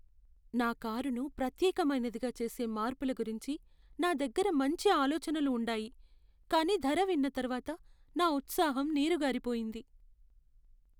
నా కారును ప్రత్యేకమైనదిగా చేసే మార్పుల గురించి నా దగ్గర మంచి ఆలోచనలు ఉండాయి, కానీ ధర విన్న తర్వాత, నా ఉత్సాహం నీరుగారిపోయింది.